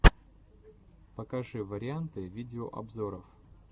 покажи варианты видеообзоров